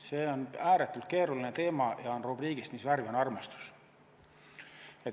See on ääretult keeruline teema ja on rubriigist, mis värvi on armastus.